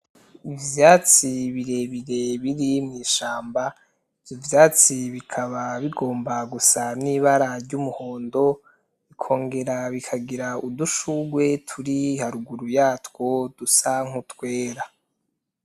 Ivyatsi birebire biri mw'ishamba, ivyo vyatsi bikaba bigomba gusa n'ibara ry'umuhondo, bikongera bikagira udushugwe turi haruguru yatwo dusa nk'utwera.